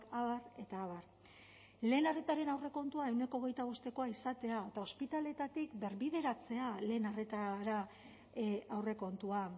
abar eta abar lehen arretaren aurrekontua ehuneko hogeita bostekoa izatea eta ospitaleetatik birbideratzea lehen arretara aurrekontua